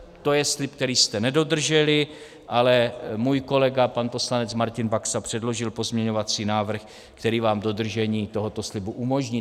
To je slib, který jste nedodrželi, ale můj kolega pan poslanec Martin Baxa předložil pozměňovací návrh, který nám dodržení tohoto slibu umožní.